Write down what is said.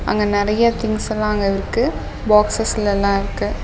அங்க நிறைய திங்ஸ் எல்லாம் அங்க இருக்கு பாக்ஸ்ஸஸ்ல லாம் இருக்கு.